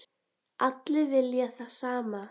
Allir vilja það sama.